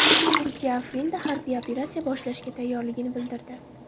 Turkiya Afrinda harbiy operatsiya boshlashga tayyorligini bildirdi.